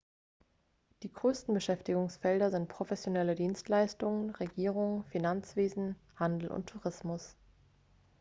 die größten beschäftigungsfelder sind professionelle dienstleistungen regierung finanzwesen handel und tourismus